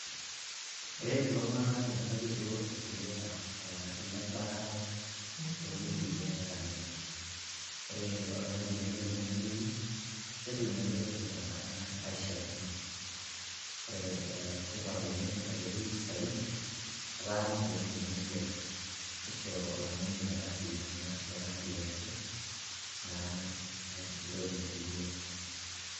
eret iltungank menotito irkeek lebaata too wuejitin netaaniki, ore oltungani tenelo nemuoyu, netum eretoto tenkata naishiaakino. ore tipat oleng aitoki saidi, etaa ninche kumok imoyiaritin, nisho oltungani metaariyianaki naa entoki naitumia.